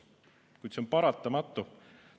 Kuid see on paratamatu.